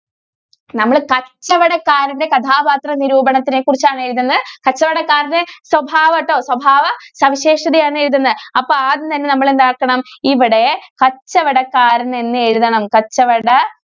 കച്ചവടക്കാരന്റെ കഥാപാത്രനിരൂപണത്തിനെ കുറിച്ചാണ് എഴുതുന്നേ. കച്ചവടക്കാരന്റെ സ്വഭാവം ട്ടോ. സ്വഭാവ സവിശേഷതയാണ് എഴുതുന്നേ. അപ്പൊ ആദ്യം തന്നെ നമ്മള് എന്താക്കണം. ഇവിടെ കച്ചവടക്കാരന്‍ എന്നെഴുതണം. കച്ചവട~